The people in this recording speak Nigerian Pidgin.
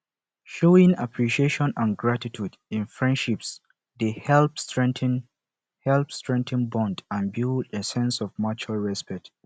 showing appreciation and gratitude in friendships dey help strengthen help strengthen bonds and build a sense of mutual respect